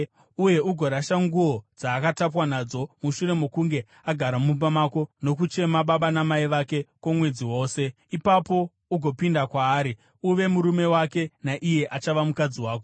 uye ugorasha nguo dzaakatapwa nadzo. Mushure mokunge agara mumba mako nokuchema baba namai vake kwomwedzi wose, ipapo ugopinda kwaari, uve murume wake naiye achava mukadzi wako.